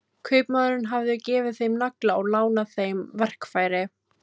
Kaupmaðurinn hafði gefið þeim nagla og lánað þeim verkfæri.